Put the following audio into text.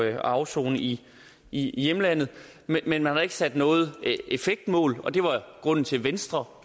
at afsone i i hjemlandet men man har ikke sat noget effektmål og det var grunden til at venstre